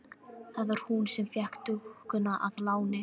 Það var hún sem fékk dúkkuna að láni.